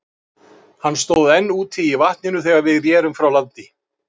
Hann stóð enn úti í vatninu, þegar við rerum frá landi.